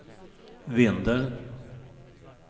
Vindeln